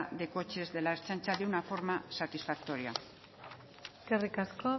de coches de la ertzaintza de una forma satisfactoria eskerrik asko